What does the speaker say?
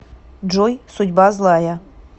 джой судьба злая